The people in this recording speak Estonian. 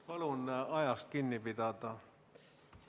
Palun ajast kinni pidada!